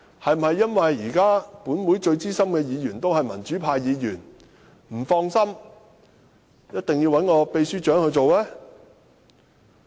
是否因為現時本會最資深的議員是民主派議員，建制派不放心而一定要由秘書長擔任呢？